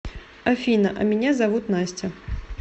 афина а меня зовут настя